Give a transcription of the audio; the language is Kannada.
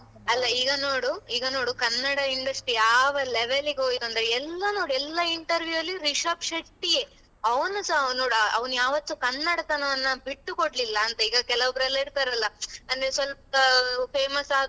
ಅಲ್ಲಾ ಈಗ ನೋಡು ಈಗ ನೋಡು ಕನ್ನಡ industry ಯಾವ level ಗೆ ಹೋಯ್ತು ಅಂದ್ರೆ ಎಲ್ಲಾ ನೋಡು ಎಲ್ಲಾ interview ಅಲ್ಲಿ ರಿಷಬ್ ಶೆಟ್ಟಿಯೆ, ಅವನುಸ ಅವನು ಅವನು ಯಾವತ್ತು ಕನ್ನಡತನವನ್ನ ಬಿಟ್ಟು ಕೊಡ್ಲಿಲ್ಲಾ ಅಂತ ಈಗ ಕೆಲವ್ ಒಬ್ರ ಇರ್ತಾರಲ್ಲ ಅಂದ್ರೆ ಸ್ವಲ್ಪ famous ಆದ್ರು,